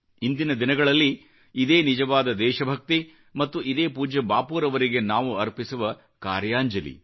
ಇಂದಿನ ದಿನಗಳಲ್ಲಿ ಇದೇ ನಿಜವಾದ ದೇಶಭಕ್ತಿ ಮತ್ತು ಇದೇ ಪೂಜ್ಯ ಬಾಪೂರವರಿಗೆ ನಾವು ಅರ್ಪಿಸುವ ಕಾರ್ಯಾಂಜಲಿ